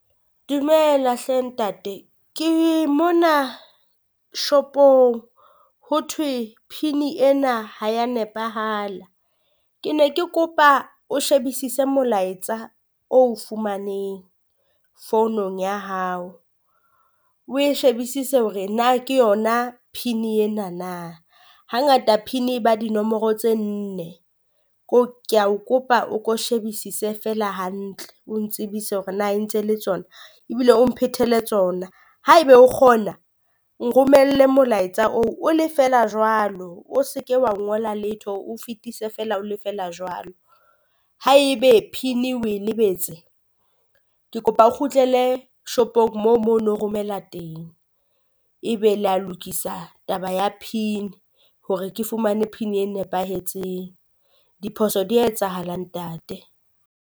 Dumela hle ntate ke mona shopong ho thwe pin-i ena ha ya nepahala, ke ne ke kopa o shebisise molaetsa o o fumaneng founung ya hao. O e shebisise hore na ke yona pin-i ena na, hangata pin e ba dinomoro tse nne ko kea o kopa o ko shebisise feela hantle o ntsebise hore na ntse le tsona. Ebile o mphetele tsona haeba o kgona, nromelle molaetsa oo o le feela jwalo o se ke wa ngola letho fetise feela o le feela jwalo. Ha e be pin-i o e lebetse, ke kopa o kgutlele shopong moo moo no o romela teng, ebe le ya lokisa taba ya pin hore ke fumane pin e nepahetseng diphoso di ya etsahala ntate.